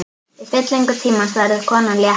Í fyllingu tímans verður konan léttari.